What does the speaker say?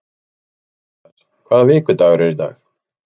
Mattías, hvaða vikudagur er í dag?